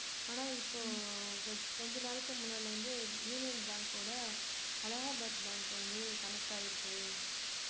ஆனா இப்போ கொஞ்~ கொஞ்ச நாளைக்கு முன்னாடிலிருந்து யூனியன் பேங்கோட அலகாபாத் பேங்க் வந்து connect ஆயிருக்கு